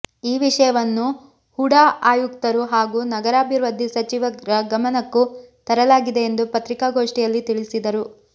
ಈ ವಿಷಯವನ್ನು ಹುಡಾ ಆಯುಕ್ತರು ಹಾಗೂ ನಗರಾಭಿವೃದ್ಧಿ ಸಚಿವರ ಗಮನಕ್ಕೂ ತರಲಾಗಿದೆ ಎಂದು ಪತ್ರಿಕಾಗೋಷ್ಠಿಯಲ್ಲಿ ತಿಳಿಸಿದರು